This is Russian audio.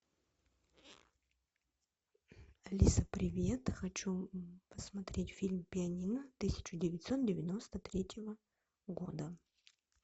алиса привет хочу посмотреть фильм пианино тысяча девятьсот девяносто третьего года